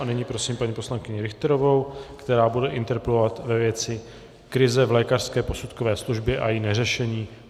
A nyní prosím paní poslankyni Richterovou, která bude interpelovat ve věci krize v lékařské posudkové službě a její neřešení.